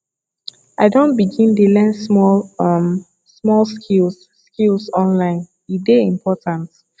i don begin dey learn small um small skills skills online e dey important